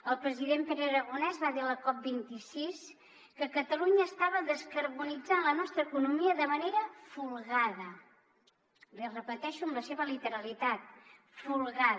el president pere aragonès va dir a la cop26 que catalunya estava descarbonitzant la nostra economia de manera folgada l’hi repeteixo en la seva literalitat folgada